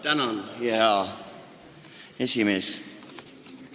Tänan, hea esimees!